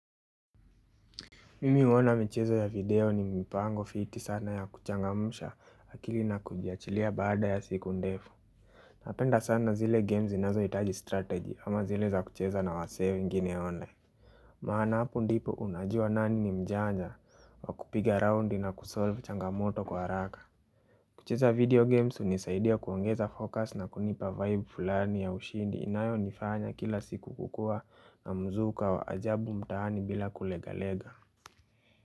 Mimi huona michezo ya video ni mipango fiti sana ya kuchangamsha akili na kujiachilia baada ya siku ndefu Napenda sana zile games zinazohitaji strategy, ama zile za kucheza na wasee wengine waone maana hapo ndipo unajua nani ni mjanja wa kupiga roundi na kusolve changamoto kwa haraka. Kucheza video games hunisaidia kuongeza focus na kunipa vibe fulani ya ushindi inayonifanya kila siku kukua na mzuka wa ajabu mtaani bila kulegalega.